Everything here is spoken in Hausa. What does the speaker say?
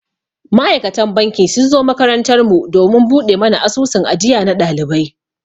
Ma'aikatan banki sun zo makarantar mu domin buɗe mana asusun ajiya na ɗalibai.